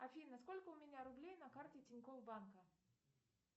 афина сколько у меня рублей на карте тинькофф банка